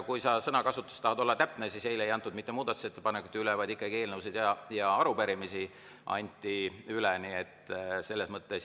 Kui tahta sõnakasutuses olla täpne, siis tuleb öelda, et eile ei antud üle mitte muudatusettepanekuid, vaid ikkagi eelnõusid ja arupärimisi.